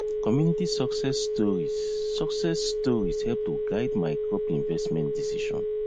community success stories success stories help to guide my crop investment decision